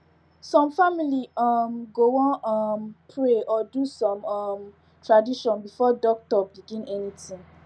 some family um go wan um pray or do small um tradition before doctor begin anything